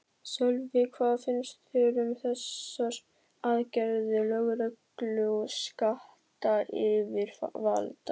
Sölvi, hvað finnst þér um þessar aðgerðir lögreglu og skattayfirvalda?